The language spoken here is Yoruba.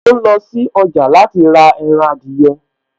Mò ń lọ sí ọjà láti rà ẹran adìyẹ